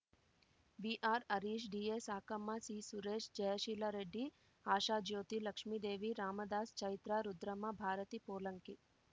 ವಿಆರ್‌ಹರೀಶ್ ಡಿಎಸಾಕಮ್ಮ ಸಿಸುರೇಶ್ Jayasheela Reddy Ashajyothi Lakshmidevi Ramdas Chaitra Rudramma Bharati ಪೋಲಂಕಿ